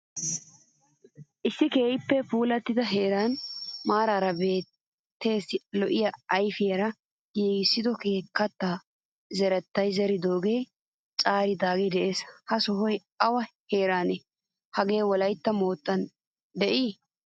Issi keehin puulattida heeran maarara biittassi lo'iyaa yafaara giigisoge kaatta zeretta zeridoge caaridage de'ees. Ha sohoy awa heeranne? Haage wolaytta mottan de'iye?